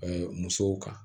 musow kan